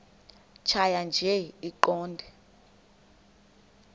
tjhaya nje iqondee